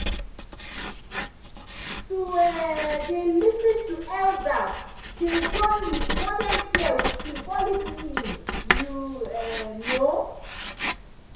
to um dey lis ten to elders dey join with modern care with symbolic meaning you um know